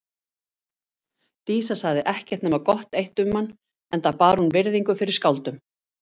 Dísa sagði ekkert nema gott eitt um hann enda bar hún virðingu fyrir skáldum.